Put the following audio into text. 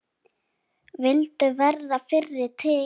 Vildu verða fyrri til.